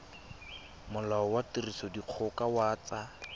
molao wa tirisodikgoka wa tsa